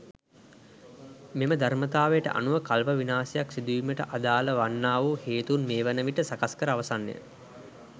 මෙම ධර්මතාවයට අනුව කල්ප විනාශයක් සිදු වීමට අදාල වන්නාවූ හේතූන් මෙ වන විට සකස් කර අවසන්ය.